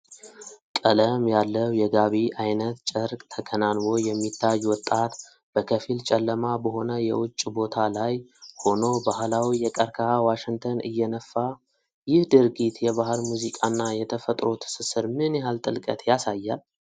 ቀለም ያለው የጋቢ አይነት ጨርቅ ተከናንቦ የሚታይ ወጣት፣ በከፊል ጨለማ በሆነ የውጭ ቦታ ላይ ሆኖ ባህላዊ የቀርከሃ ዋሽንትን እየነፋ፣ ይህ ድርጊት የባህል ሙዚቃና የተፈጥሮ ትስስር ምን ያህል ጥልቀት ያሳያል?